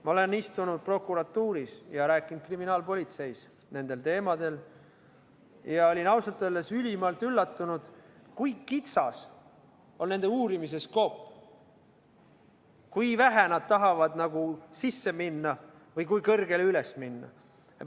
Ma olen istunud prokuratuuris ja rääkinud kriminaalpolitseis nendel teemadel ning olin ausalt öeldes ülimalt üllatunud, kui kitsas on nende uurimise skoop, kui vähe nad tahavad n-ö sisse minna või kui kõrgele üles minna.